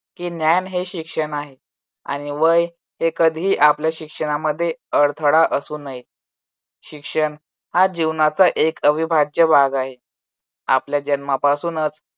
की ज्ञान हे शिक्षण आहे आणि वय ते कधी आपल्या शिक्षणामध्ये अडथळा असू नये. शिक्षण हा जीवनाचा एक अविभाज्य भाग आहे. आपल्या जन्मापासूनच